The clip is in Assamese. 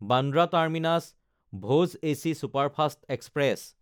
Bandra টাৰ্মিনাছ–ভোজ AC superfast express